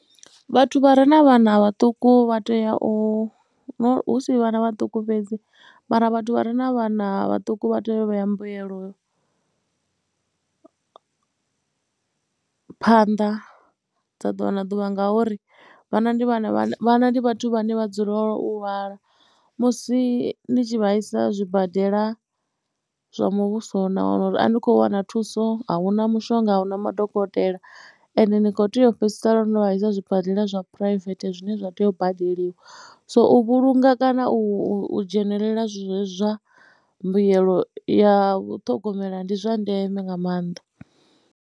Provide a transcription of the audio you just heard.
Vhathu vha re na vhana vhaṱuku vha tea u vha, hu si vhana vha vhaṱuku fhedzi mara vhathu vha re na vhana vhaṱuku vha tea u vhea mbuyelo phanḓa dza ḓuvha na ḓuvha. Ngauri vhana ndi vhana, vhana ndi vhathu vhane vha dzulela u lwala musi ndi tshi vha isa zwibadela zwa muvhuso na wana uri a ni khou wana thuso, a hu na mushonga, a hu na madokotela ende ni khou tea u fhedzisela no ya hezwo zwibadela zwa phuraivethe zwine zwa tea u badeliwa. So u vhulunga kana u u dzhenelela zwezwi zwa mbuyelo ya vhuṱhogomela ndi zwa ndeme nga maanḓa.